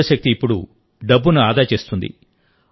సౌర శక్తి ఇప్పుడు డబ్బును ఆదా చేస్తుంది